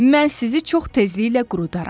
Mən sizi çox təzliklə qurudarram.